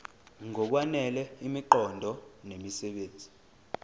ngokwanele imiqondo nemisebenzi